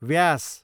व्यास